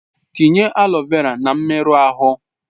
Tinye aloe vera na mmerụ ahụ!